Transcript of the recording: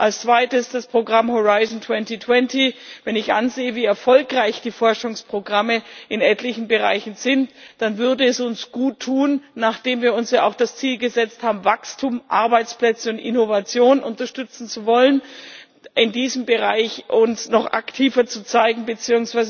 Als Zweites das Programm Horizont 2020. Wenn ich ansehe, wie erfolgreich die Forschungsprogramme in etlichen Bereichen sind, dann würde es uns guttun nachdem wir uns ja auch das Ziel gesetzt haben, Wachstum, Arbeitsplätze und Innovation unterstützen zu wollen uns in diesem Bereich noch aktiver zu zeigen bzw.